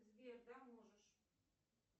сбер да можешь